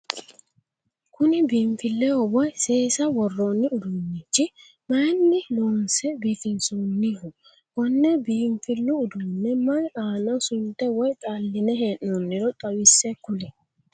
Kunni biinfileho woyi seesa woroonni uduunichi mayinni loonse biifinsoonniho? Konne biinfilu uduune mayi aanna sunte woyi xaline hee'nonniro xawise kuli?